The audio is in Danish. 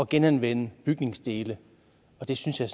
genanvende bygningsdele det synes jeg